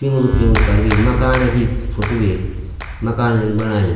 पिन्ग्लू पिन्ग्लू करीं वेमकान की फोटो भी मकान जन बणायु।